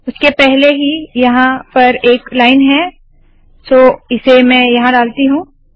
उसके पहले ही यहाँ पर एक लाइन है सो इसे मैं यहाँ डालती हूँ